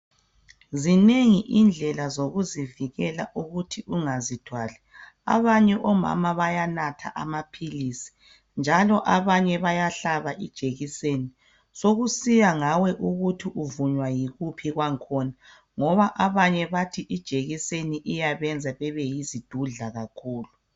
Zinengi indlela zokuzivikela ukuthi ungazithwali. Abanye omama bayanatha amaphilisi njalo abanye bayahlaba ijekiseni. Sokusiya ngawe ukuthi uvunywa yikuphi kwakhona ngoba abanye bathi ijekiseni iyabenza bebeyizidudla kakhulu.